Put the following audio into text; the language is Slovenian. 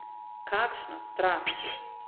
Kakšna strast!